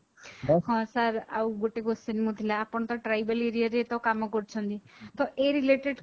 ହଁ sir ଆଉ ଗୋଟେ question ମୁଁ ଥିଲା ଆପଣ ତ tribal area ରେ କାମ କରୁଛନ୍ତି ତ ଏ related